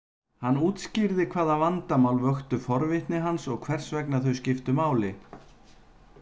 Hann útskýrði hvaða vandamál vöktu forvitni hans og hvers vegna þau skiptu máli.